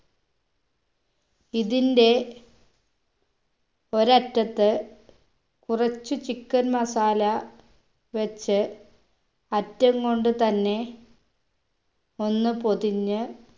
ഇതിന്റെ ഒരറ്റത്ത് കുറച്ച് chicken masala വെച്ച് അറ്റംകൊണ്ടു തന്നെ ഒന്ന് പൊതിഞ്ഞ്